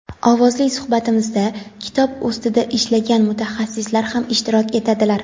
Ovozli suhbatimizda kitob ustida ishlagan mutaxassislar ham ishtirok etadilar.